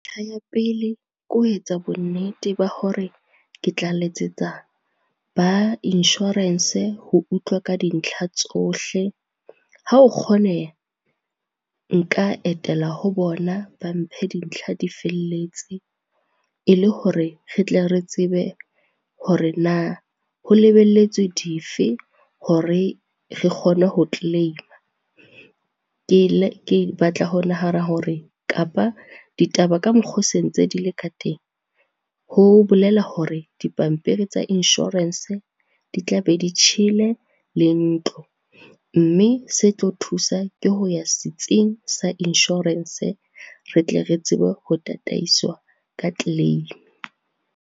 Ya pele, ke ho etsa bonnete ba hore ke tla letsetsa ba inshorense ho utlwa ka dintlha tsohle. Ha o kgoneha, nka etela ho bona ba mphe dintlha difelletse, e le hore re tle re tsebe hore na ho lebelletswe dife hore re kgone ho claim-a. Ke batla ho nahana hore kapa ditaba ka mokgo se ntse di le ka teng, ho bolela hore dipampiri tsa inshorense di tla be di tjhele le ntlo. Mme se tlo thusa ke ho ya setsing sa inshorense, re tle re tsebe ho tataiswa ka claim.